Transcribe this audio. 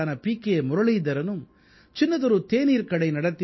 K முரளீதரனும் சின்னதொரு தேநீர்க் கடை நடத்தி வரும் பீ